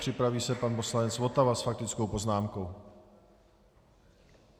Připraví se pan poslanec Votava s faktickou poznámkou.